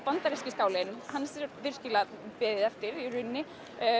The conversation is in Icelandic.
bandaríski skálinn hans er virkilega beðið eftir í rauninni